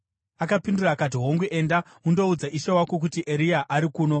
Akapindura akati, “Hongu. Enda undoudza ishe wako kuti, ‘Eria ari kuno.’ ”